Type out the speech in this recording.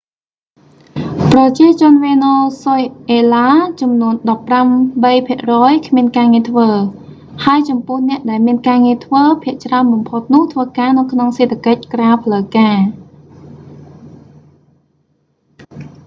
ប្រជាជនវេណេស៊ុយអេឡាចំនួណដប់ប្រាំបីភាគរយ គ្មានការងារធ្វើ ហើយចំពោះអ្នកដែលមានការងារធ្វើភាគច្រើនបំផុតនោះធ្វើការនៅក្នុងសេដ្ឋកិច្ចក្រៅផ្លូវការ